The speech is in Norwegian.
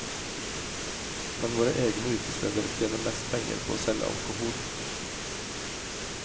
Men våre egne utesteder tjener mest penger på å selge alkohol.